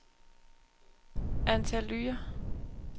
Antalya